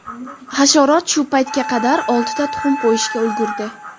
Hasharot shu paytga qadar oltita tuxum qo‘yishga ulgurdi.